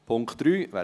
Punkt 3